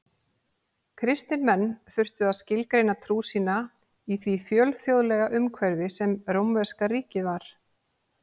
Kristnir menn þurftu að skilgreina trú sína í því fjölþjóðlega umhverfi sem rómverska ríkið var.